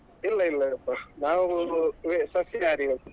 ಇಲ್ಲ ಇಲ್ಲಪ್ಪ ನಾವು ಸಸ್ಯಾಹಾರಿಗಳು.